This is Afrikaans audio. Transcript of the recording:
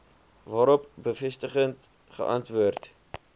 waarop bevestigend geantwoord